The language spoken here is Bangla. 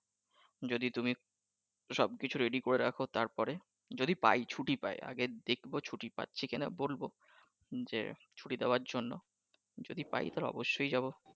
যদি তুমি সব কিছু ready করে রাখো তারপরে যদি পাই ছুটি পাই আগে দেখবো ছুটি পাচ্ছি কিনা বলবো যে ছুটি দেওয়ার জন্য যদি পাই তবে অবশ্যই যাবো